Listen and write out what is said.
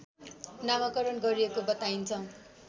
नामाकरण गरिएको बताइन्छ